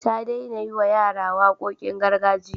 Ta daina yiwa yara waƙoƙin gargajiya.